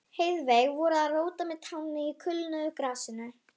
Heiðveig voru að róta með tánni í kulnuðu grasinu.